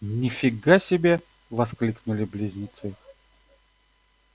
ни фига себе воскликнули близнецы